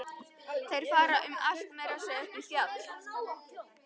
Þeir fara um allt, meira að segja upp í fjall.